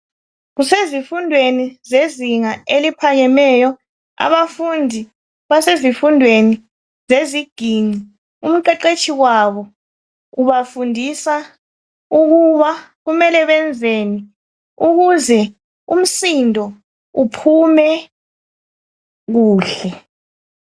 kusezifundweni zezinga eliphakemeyo abafundi basezifundweni zeziginci umqeqetshi wabo ubafundisa ukuba kumele benzeni ukuze umsindo uphume kuhle